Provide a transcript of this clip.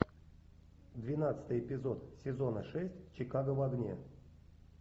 двенадцатый эпизод сезона шесть чикаго в огне